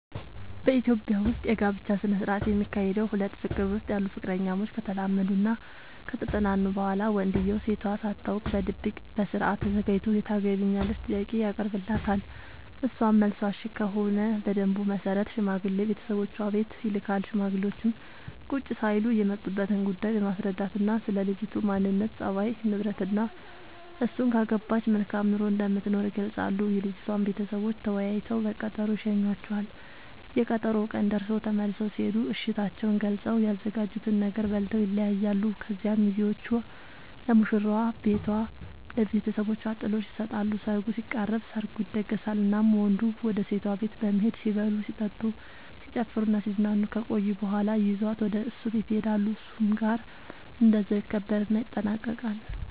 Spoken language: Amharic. በኢትዮጵያ ዉስጥ የጋብቻ ስነ ስርዓት የሚካሄደዉ ሁለት ፍቅር ዉስጥ ያሉ ፍቅረኛሞች ከተላመዱናከተጠናኑ በኋላ ወንድዬው ሴቷ ሳታውቅ በድብቅ በስርአት ተዘጋጅቶ የታገቢኛለሽ ጥያቄ ያቀርብላታል እሷም መልሷ እሽ ከሆነ በደንቡ መሰረት ሽማግሌ ቤተሰቦቿ ቤት ይልካል ሽማግሌዎቹም ቁጭ ሳይሉ የመጡበትን ጉዳይ በማስረዳትናስለ ልጅቱ ማንነት፣ ፀባይ፤ ንብረትናእሱን ካገባች መልካም ኑሮ እንደምትኖር ይገልጻሉ። የልጅቷም ቤተሰቦች ተወያይተው በቀጠሮ ይሸኙዋቸዋል፤ የቀጠሮው ቀን ደርሶ ተመልሰው ሲሄዱ እሽታቸውን ገልፀው፤ ያዘጋጁትን ነገር በልተው ይለያያሉ። ከዚያ ሚዜዎቹ ለሙሽራዋ ቤቷ ለብተሰቦቿ ጥሎሽ ይሰጣሉ ሰርጉ ሲቃረብ፤ ሰርጉ ይደገሳል እናም ወንዱ ወደ ሴቷ ቤት በመሄድ ሲበሉ ሲጠጡ፣ ሲጨፍሩናሲዝናኑ ከቆዩ በኋላ ይዟት ወደ እሱ ቤት ይሄዳሉ እሱም ጋር እንደዛው ይከበርና ይጠናቀቃል